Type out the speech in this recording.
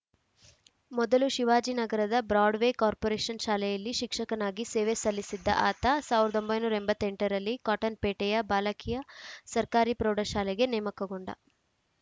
ಮೊದಲು ಶಿವಾಜಿನಗರದ Broadway corporation ಶಾಲೆಯಲ್ಲಿ ಶಿಕ್ಷಕನಾಗಿ ಸೇವೆ ಸಲ್ಲಿಸಿದ್ದ ಆತ ಸಾವಿರದ ಒಂಬೈನೂರ ಎಂಬತ್ತ್ ಎಂಟ ರಲ್ಲಿ ಕಾಟನ್‌ಪೇಟೆಯ ಬಾಲಕಿಯ ಸರ್ಕಾರಿ ಪ್ರೌಢಶಾಲೆಗೆ ನೇಮಕಗೊಂಡ